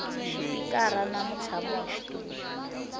xipikara na mutshami wa xitulu